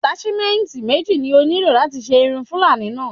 Àtáṣímẹ́ǹyì méjì ni ó nílò láti ṣe irun fuúlàní náà